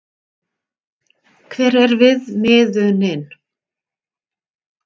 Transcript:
Hver er viðmiðunin?